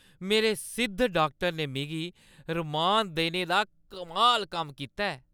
मेरे सिद्ध डाक्टर ने मिगी रमान देने दा कमाल कम्म कीता ऐ।